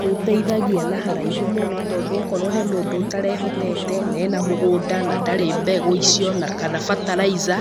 Nĩũteithagia na haraihu mũno tondũ okorwo he mũndũ ũtarehotete, na ena mũgũnda, na ndarĩ mbegũ icio na kana fertilizer,